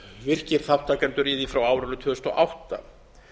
virkir þátttakendur í því frá árinu tvö þúsund og átta